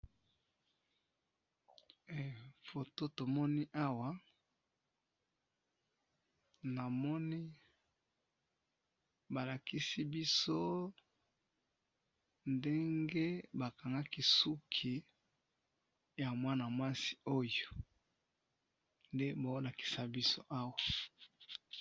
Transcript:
he foto tomoni awa namoni balakisi biso ndenge bakangaki suki ya mwana mwasi oyo nde bazo lakisa biso awa.